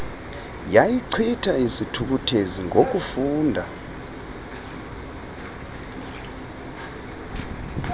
yayichitha isithukuthezi ngokufunda